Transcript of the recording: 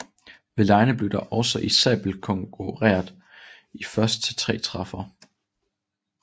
Ved legene blev der også i sabelkonkurreret i først til tre træffere